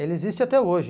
Ele existe até hoje.